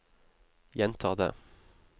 gjenta det